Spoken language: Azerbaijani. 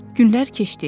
Günlər keçdi.